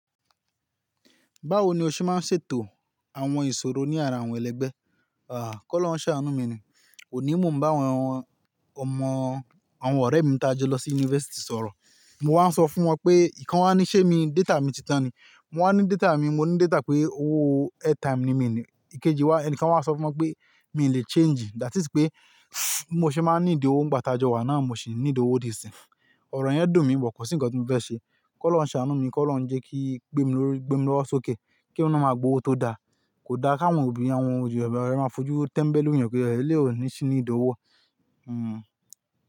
Báwo ni o ṣe máa ń ṣètò àwọn ìṣòro ní ara àwọn ẹlẹgbẹ́? À, kó lọrùn ṣàánú mi ni. Oní mo n bá àwọn ọmọ, àwọn ọ̀rẹ́ mi tí a jọ lọ sí yunifásítì sọ̀rọ̀. Mo wá ń sọ fún wọn pé, ìkan wá ní ṣé mi, data mi ti tán ni. Mo wá ní data mi, mo ní data pé owó airtime ni mí ní. Ikeji wá, ẹnìkan wá ń sọ fún wọn pé, mi ò lè change. That is pé, bí mo ṣe máa ń need owó ńigbá tajọ wà náà, mo ṣì need owó dí ìsin. Ọ̀rọ̀ yẹn dùn mí, bo kọ̀ sí ǹkan tí mo fẹ́ ṣe. K’Ọ́lọ́run ṣàánú mi, k’Ọ́lọ́run jẹ́ kí n gbémi lówó sókè, kí èmi náà máa gba owó tó dá. Kò da káwọn obìnrin, àwọn obìnrin máa fojú tẹ́mbẹ́lú èèyàn pé, éléyì ò ní sì níìdí owó.